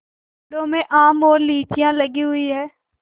पेड़ों में आम और लीचियाँ लगी हुई हैं